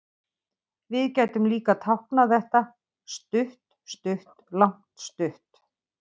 Við gætum líka táknað þetta stutt-stutt-langt-stutt.